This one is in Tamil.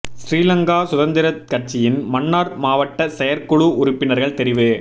சிறிலங்கா சுதந்திரக் கட்சியின் மன்னார் மாவட்ட செயற் குழு உறுப்பினர்கள் தெரிவு